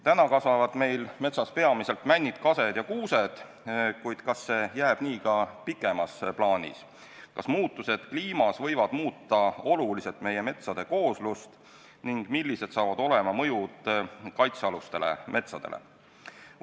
Täna kasvavad meil metsas peamiselt männid, kased ja kuused, kuid kas see jääb nii ka pikemas plaanis – kas muutused kliimas võivad muuta oluliselt meie metsade kooslust ning millised saavad olema mõjud kaitsealustele metsadele?